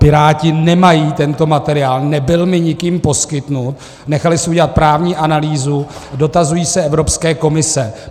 Piráti nemají tento materiál, nebyl mi nikým poskytnut, nechali si udělat právní analýzu, dotazují se Evropské komise.